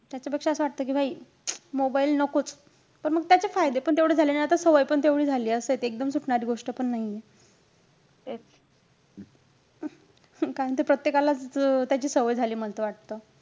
त्याच्यापेक्षा असं वाटतं कि mobile नकोच. पण म त्याचे फायदेपण तेवढेचं झालेय. आणि आता सवय पण तेवढी झालीय. असंय ते. एकदम सुटणारी गोष्टपण नाहीये. कारण ते प्रत्येकालाच त्याची सवय झालीयं मल त वाटतं.